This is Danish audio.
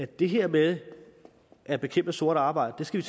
det her med at bekæmpe sort arbejde skal